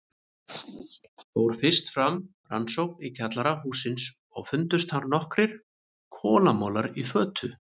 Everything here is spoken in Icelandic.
Fór fyrst fram rannsókn í kjallara hússins og fundust þar nokkrir kolamolar í fötu.